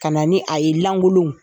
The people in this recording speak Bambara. Ka na ni a ye lankolo.